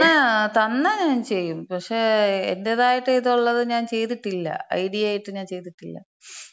ങാ, തന്നാ ഞാൻ ചെയ്യും. പക്ഷേ എന്‍റേതായിട്ട് ഇത് ഒള്ളത് ഞാൻ ചെയ്തിട്ടില്ല. ഐഡിയ ആയിട്ട് ഞാൻ ചെയ്തിട്ടില്ല.